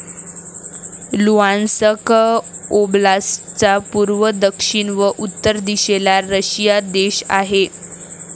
Luhansk ओब्लास्टचा पूर्व, दक्षिण व उत्तर दिशेला रशिया देश आहे.